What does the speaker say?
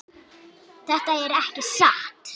Þetta er ekki satt!